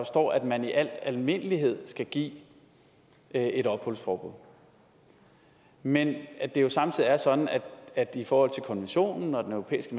står at man i al almindelighed skal give et et opholdsforbud men at det jo samtidig er sådan at i forhold til konventionen og den europæiske